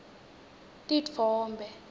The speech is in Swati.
titfombe